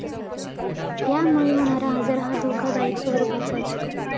यामुळे होणारा आजार हा धोकादायक स्वरूपाचा असतो.